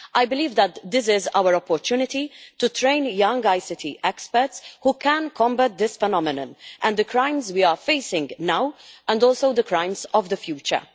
I believe that this is our opportunity to train young ICT experts who can combat this phenomenon and the crimes we are facing now and also the crimes of the future.